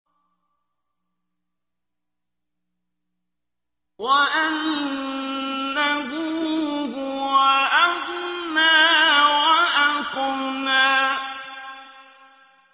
وَأَنَّهُ هُوَ أَغْنَىٰ وَأَقْنَىٰ